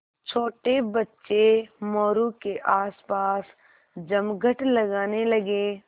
छोटे बच्चे मोरू के आसपास जमघट लगाने लगे